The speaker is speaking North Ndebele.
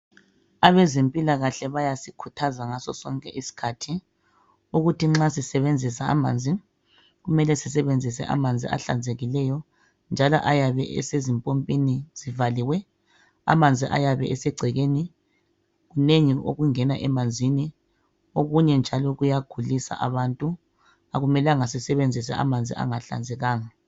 abezempilakahle bayasikhutrhaza ngaso sonke isikhathi ukuthi nxa sisebenzisa amanzi kumele sisebenzise amanzi ahlanzekileyo njalo ayabe esezimpompini zvaliwe amanzi ayabe esegcekeni kunengi okungena emanzini okunye njalo kuyagulisa abantu akumelanga sisebenzise amanzi anga hlanzekanga